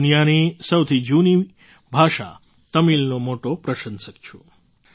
હું દુનિયાની સૌથી જૂની ભાષા તમિલનો મોટો પ્રશંસક છું